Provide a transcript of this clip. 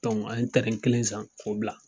an ye kelen san k'o bila.